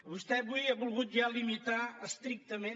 vostè avui ha volgut ja limitar estrictament